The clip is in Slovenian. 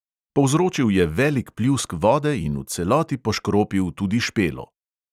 Povzročil je velik pljusk vode in v celoti poškropil tudi špelo.